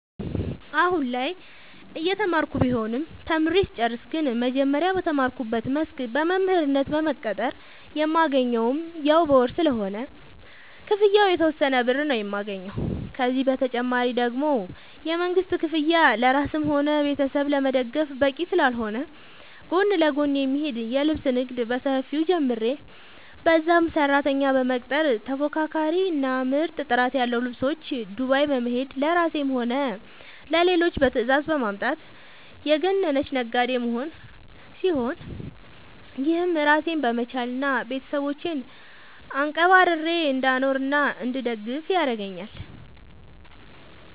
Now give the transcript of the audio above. አሁላይ እየተማርኩ ቢሆንም ተምሬ ስጨርስ ግን መጀመሪያ በተማርኩበት መስክ በመምህርነት በመቀጠር የማገኘውም ያው በወር ስለሆነ ክፍያው የተወሰነ ብር ነው የማገኘው፤ ከዚህ ተጨማሪ ደግሞ የመንግስት ክፍያ ለራስም ሆነ ቤተሰብ ለመደገፍ በቂ ስላልሆነ ጎን ለጎን የሚሄድ የልብስ ንግድ በሰፊው ጀምሬ በዛም ሰራተኛ በመቅጠር ተፎካካሪ እና ምርጥ ጥራት ያለው ልብሶች ዱባይ በመሄድ ለራሴም ሆነ ለሌሎች በትዛዝ በማምጣት የገነነች ነጋዴ መሆን ሲሆን፤ ይህም ራሴን በመቻል እና ቤተሰቦቼን አንቀባርሬ እንዳኖርናእንድደግፍ ያረገአኛል።